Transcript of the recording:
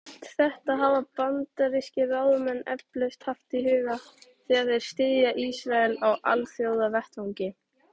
Allt þetta hafa bandarískir ráðamenn eflaust haft í huga, þegar þeir styðja Ísrael á alþjóðavettvangi.